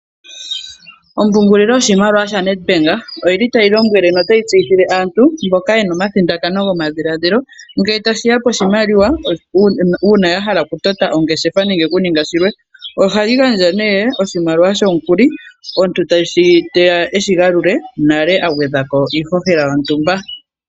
Ompungulilo yoshimaliwa shaNedbank oyili tayi lombwele notayi tseyithile aantu mboka yena omathindakano gomadhiladhilo, ngele tashiya koshimaliwa uuna ya hala okutota oongeshefa nenge kuninga shilwe. Ohayi gandja nee oshimaliwa shomukuli omuntu teya eshigalule nale agwedha ko iihohela yontumba.